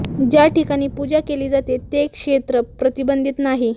ज्या ठिकाणी पूजा केली जाते ते क्षेत्र प्रतिबंधित नाही